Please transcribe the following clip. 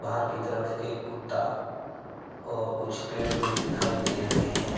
बाहर की तरफ एक कुत्ता और कुछ पेड़ भी दिखाई दे रहे हैं।